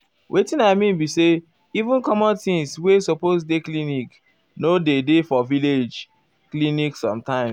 wetin i mean be say even common things wey wey supose dey clinic nor dey dey for village clinic sometimes.